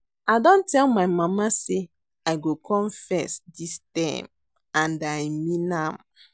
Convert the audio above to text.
I don tell my mama say I go come first dis term and I mean am